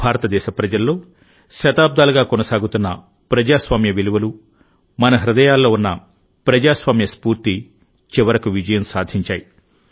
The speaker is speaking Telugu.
భారతదేశ ప్రజల్లో శతాబ్దాలుగా కొనసాగుతున్న ప్రజాస్వామ్య విలువలు మన హృదయాల్లో ఉన్న ప్రజాస్వామ్య స్ఫూర్తిచివరకు విజయం సాధించాయి